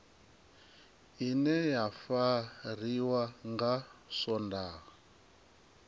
ine ya fariwa nga swondaha